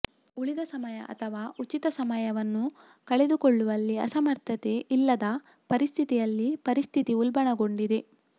ಉಳಿದ ಸಮಯ ಅಥವಾ ಉಚಿತ ಸಮಯವನ್ನು ಕಳೆದುಕೊಳ್ಳುವಲ್ಲಿ ಅಸಮರ್ಥತೆ ಇಲ್ಲದ ಪರಿಸ್ಥಿತಿಯಲ್ಲಿ ಪರಿಸ್ಥಿತಿ ಉಲ್ಬಣಗೊಂಡಿದೆ